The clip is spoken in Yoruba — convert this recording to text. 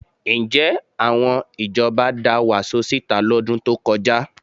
Ǹjẹ́ àwọn ìjọba da wàsó síta lọ́dún tó kọjá?